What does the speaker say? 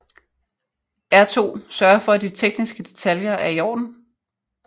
R2 sørger for at de tekniske detaljer er iorden